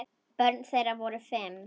Börn þeirra voru fimm.